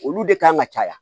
Olu de kan ka caya